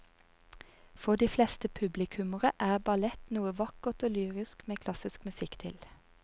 For de fleste publikummere er ballett noe vakkert og lyrisk med klassisk musikk til.